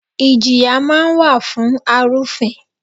Ìjìyà máa ń wà fún arufin.